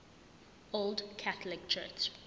old catholic church